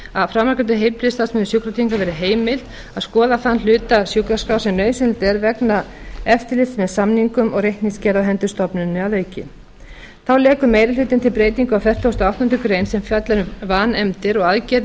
að skoða þann hluta sjúkraskrár sem nauðsynlegt er vegna eftirlits með samningum og reikningsgerð á hendur stofnuninni að auki þá leggur meiri hlutinn til breytingu á fertugasta og áttundu greinar sem fjallar um vanefndir og aðgerðir